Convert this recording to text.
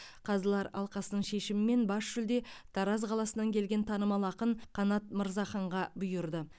қазылар алқасының шешімімен бас жүлде тараз қаласынан келген танымал ақын қанат мырзаханға бұйырды